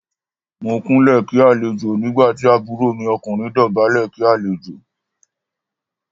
Mo Kúnlẹ̀ kí àlejò nígbà tí àbúrò mi ọkùnrin dọ̀bálẹ̀ kí àlejò.